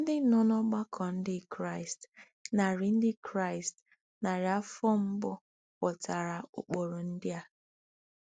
Ndị nọ n'ọgbakọ Ndị Kraịst narị Ndị Kraịst narị afọ mbụ ghọtara ụkpụrụ ndị a.